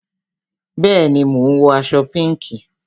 Bẹẹni, mo ń wọ aṣọ pinki